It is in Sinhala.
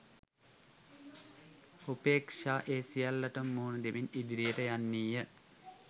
උපේක්‍ෂා ඒ සියල්ලටම මුහුණ දෙමින් ඉදිරියට යන්නීය